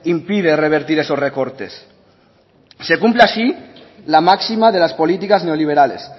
impide revertir esos recortes se cumple así la máxima de las políticas neoliberales